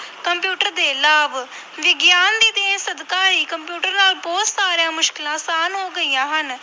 Computer ਦੇ ਲਾਭ, ਵਿਗਿਆਨ ਦੀ ਦੇਣ ਸਦਕਾ ਹੀ ਕੰਪਿਊਟਰ ਨਾਲ ਬਹੁਤ ਸਾਰੀਆਂ ਮੁਸ਼ਕਲਾਂ ਆਸਾਨ ਹੋ ਗਈਆਂ ਹਨ।